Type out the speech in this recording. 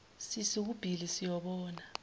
sisu kubhili siyobona